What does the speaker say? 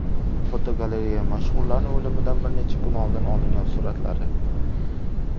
Fotogalereya: Mashhurlarning o‘limidan bir necha kun oldin olingan suratlari.